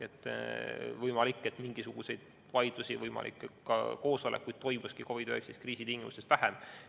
On võimalik, et mingisuguseid vaidlusi, võimalik, et ka koosolekuid toimuski COVID-19 kriisi tingimustes vähem.